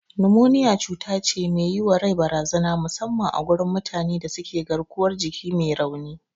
Numoniya cutace me yiwa rai barazana musamman a gurin mutane da suke garkuwar jiki me rauni.